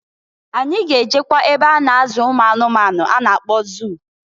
Anyị ga-ejekwa n'ebe a na-azụ ụmụanụmanụ a na-akpọ zụụ.